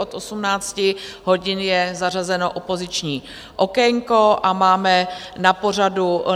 Od 18 hodin je zařazeno opoziční okénko a máme na pořadu